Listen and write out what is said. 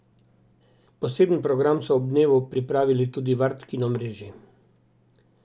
Poseben program so ob dnevu pripravili tudi v Art kino mreži.